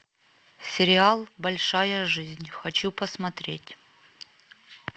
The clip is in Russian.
сериал большая жизнь хочу посмотреть